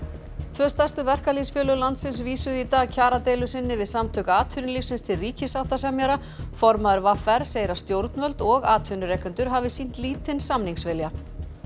tvö stærstu verkalýðsfélög landsins vísuðu í dag kjaradeilu sinni við Samtök atvinnulífsins til ríkissáttasemjara formaður v r segir að stjórnvöld og atvinnurekendur hafi sýnt lítinn samningsvilja